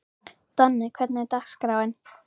Donni, hvernig er dagskráin?